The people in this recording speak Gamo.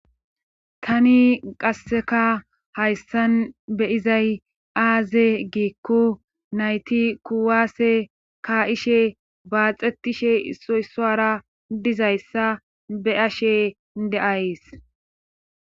Tani qasseka hayssan beyizay aaze giikku nayti kuwaase ka ishe baaxetishe soysoara dizayssa be ashe de'ays